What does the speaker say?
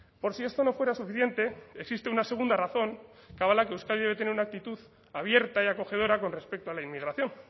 por si esto no fuera suficiente existe una segunda razón que avala que euskadi debe tener una actitud abierta y acogedora con respecto a la inmigración